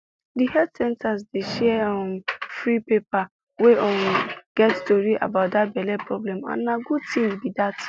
the health center dey share um free paper wey um get tory about that belle problem and na good thing be that